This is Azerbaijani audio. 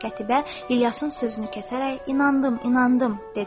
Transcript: Qətiyyə İlyasın sözünü kəsərək: inandım, inandım dedi.